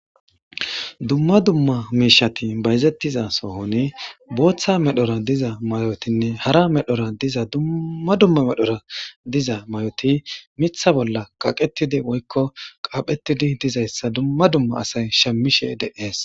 dumma dumma miishati bayzettiza sohone booththa medhora diza mayotinne hara medhora diza dumma dumma medhora diza may7oti mitha bolla kaqetidi woykko qaaphetidi dizayssa dumma dumma asay shamishe de7ees